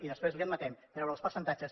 i després li admetem treure els percentatges